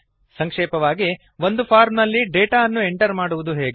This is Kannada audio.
ಸಂಕ್ಷೇಪವಾಗಿ ಒಂದು ಫಾರ್ಮ್ ನಲ್ಲಿ ಡೇಟಾ ಅನ್ನು ಎಂಟರ್ ಮಾಡುವುದು ಹೇಗೆ160